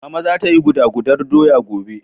Mama za ta yi guda gudar doya gobe.